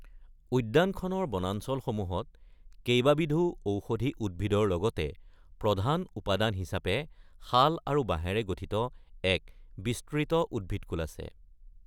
উদ্যানখনৰ বনাঞ্চলসমূহত কেইবাবিধো ঔষধি উদ্ভিদৰ লগতে প্ৰধান উপাদান হিচাপে শাল আৰু বাঁহেৰে গঠিত এক বিস্তৃত উদ্ভিদকূল আছে।